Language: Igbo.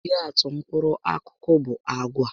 Ihe atụ mkpụrụ akụkụ bu àgwà